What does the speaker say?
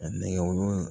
Ka nɛgɛ